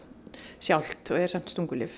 sjálft og eru samt stungulyf